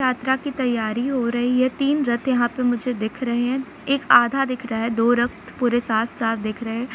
यात्रा की तैयारी हो रही है तीन रथ यहां पे मुझे दिख रहें है एक आधा दिख रहा है दो रथ पूरे साथ साथ दिख रहें हैं।